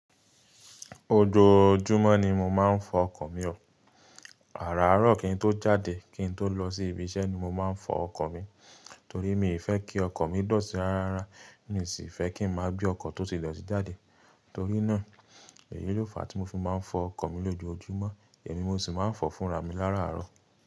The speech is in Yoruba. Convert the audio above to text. Ojoojúmọ́ ni mo máa ń fọ ọkọ̀ mi o, àràárọ̀ kì í tó jáde kí n tó lọ sí ibi iṣẹ́ ni mo máa ń fọ ọkọ̀ mi. Torí mi fẹ́ kí ọkọ̀ mi dọ̀tí rarára, mi sì fẹ́ kí n máa gbé ọkọ̀ tó ti dọ̀tí jáde. Torí náà, èyí ló fà á tí mo fi máa ń fọ ọkọ̀ mi lójoojúmọ́, èmi mo sì máa ń fọ fúnra mi láàárọ̀.